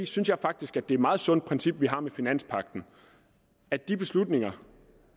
synes jeg faktisk det er et meget sundt princip vi har med finanspagten at de beslutninger